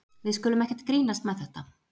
Við skulum ekkert grínast með þetta.